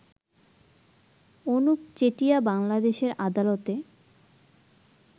অনুপ চেটিয়া বাংলাদেশের আদালতে